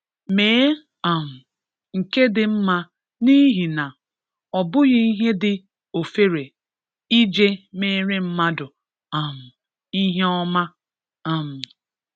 Mee um nke dị mma n'ihi na, ọ bụghị ihe dị ofere ije mere mmadụ um ihe ọma um